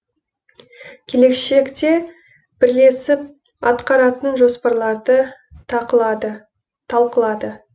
келешекте бірлесіп атқаратын жоспарларды талқылады